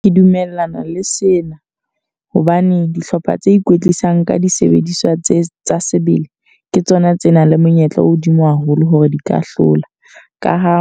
Ke dumellana le sena. Hobane dihlopha tse ikwetlisang ka disebediswa tse tsa sebele. Ke tsona tse nang le monyetla o hodimo haholo hore di ka hlola. Ka ha